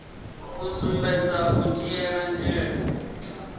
u sumbedza u dzhiele nzhele